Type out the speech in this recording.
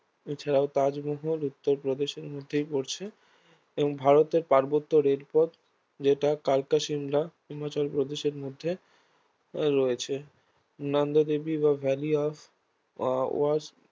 এছাড়াও তাজমহল উত্তর প্রদেশের মধ্যেই পড়ছে এবং ভারতের পার্বত্য রেলপথ যেটা কালকা শিমলা হিমাচল প্রদেশের মধ্যে রয়েছে নন্দাদেবী বা ভ্যালি অফ আহ ফ্লাওয়ার্স